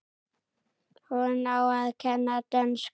Hún á að kenna dönsku.